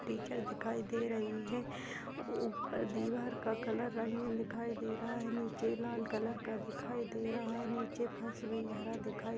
teacher दिखाई दे रही है उपर दीवार का कलर रंगीन दिखाई दे रहा है नीचे लाल कलर का दिखाई दे रहा है नीचे हरा दिखाई --